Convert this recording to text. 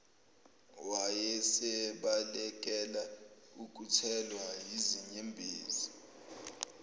wayesebalekela ukuthelwa yizinyembezi